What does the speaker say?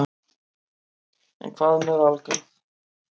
En hvað með Valgarð?